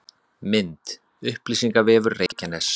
Mynd: Upplýsingavefur Reykjaness